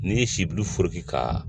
N'i ye sibulu foroki ka